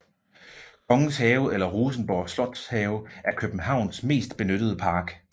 Kongens Have eller Rosenborg Slotshave er Københavns mest benyttede park